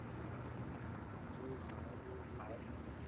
જે સાહેબ હોય જે બેહનો